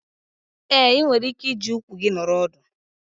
Ee, ị nwere ike iji ụkwụ gị nọrọ ọdụ.